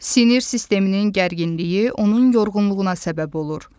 Sinir sisteminin gərginliyi onun yorğunluğuna səbəb olur.